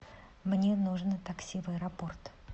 мне нужно такси в аэропорт